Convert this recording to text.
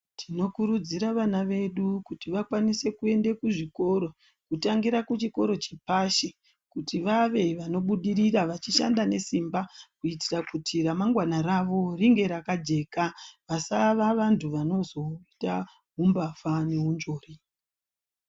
Tinokurudzira vana vedu kuti vakwanise kuende kuzvikoro, kutangira kuchikoro chepashi kuti vave vanobudirira vachishanda nesimba, kuitira kuti ramangwana ravo ringe rakajeka ,vasava vanhu vanozoita umbavha neunzvori.